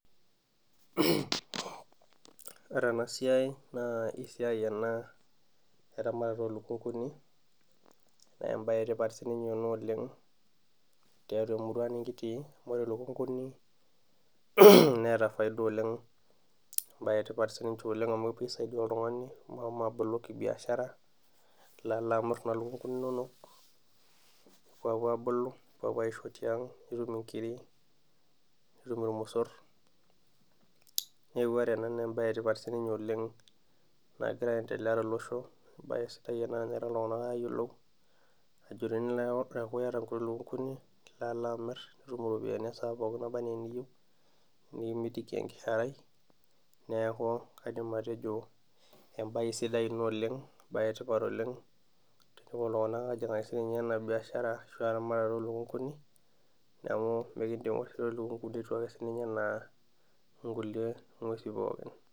Ore ena siai naa esiai ena eramatare olukunkuni ,naa enetipata siininye ena oleng tiatua emurua nikitii amu ore lukunkuni neeta faida oleng ,entoki etipat siininye amu kisaidia oltungani metubulu kibiashara ,ilo alo amir nena lukunkuni inonok nepuoapuo abulu ,nepuo aisho tiang, nitum nkiri ,nitum irmosor .neeku ore ena naa embae etipat nagira siininye aendelea tolosho ,embae sidai ena tenepuo ltunganak apuo ayiolou teneeku iyata nkuti lukunkuni ,nilo alo amir nitum iropiyiani esaa pookin nana enaa eniyieu nikimitiki enkiharai neeku kaidim atejo embae sidai ina oleng embae etipat ,tenepuo siininche iltunganak apuo ajingaki ena biashara eramaatare oolukunkuni ,neeku ore lukunkuni etiu ake siininche enaa nkulie ngwesin pookin.